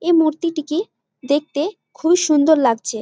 এই মূর্তিটিকে দেখতে খুব এই সুন্দর লাগছে।